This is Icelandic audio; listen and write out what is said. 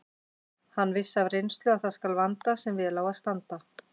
Hann vissi af reynslu að það skal vanda sem vel á að standa.